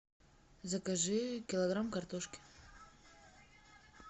закажи килограмм картошки